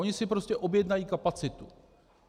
Oni si prostě objednají kapacitu.